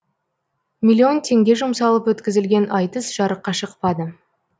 миллион теңге жұмсалып өткізілген айтыс жарыққа шықпады